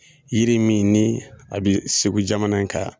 Yiri min ni a be segu jamana kan